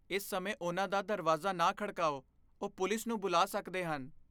ਇਸ ਸਮੇਂ ਉਨ੍ਹਾਂ ਦਾ ਦਰਵਾਜ਼ਾ ਨਾ ਖੜਕਾਓ। ਉਹ ਪੁਲਿਸ ਨੂੰ ਬੁਲਾ ਸਕਦੇ ਹਨ।